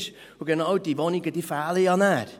Und genau diese Wohnungen fehlen nachher.